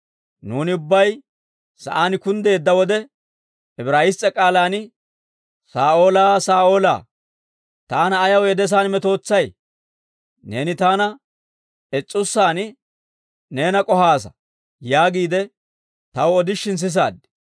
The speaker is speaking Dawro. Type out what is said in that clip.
Nuuni ubbay sa'aan kunddeedda wode, Ibraayiss's'e k'aalaan, ‹Saa'oolaa, Saa'oolaa, taana ayaw yedesaan metootsay? Neeni taana is'ussaan neena k'ohaasa› yaagiide taw odishin sisaad.